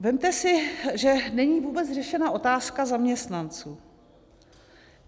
Vezměte si, že není vůbec řešena otázka zaměstnanců.